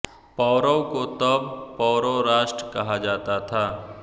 पौरव को तब पौरव राष्ट्र कहा जाता था